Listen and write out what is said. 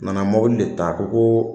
Nana mɔbili de ta, a ko ko